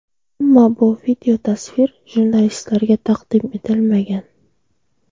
Ammo bu videotasvir jurnalistlarga taqdim etilmagan.